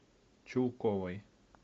чулковой